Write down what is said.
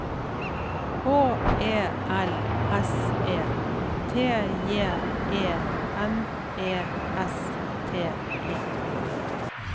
H E L S E T J E N E S T E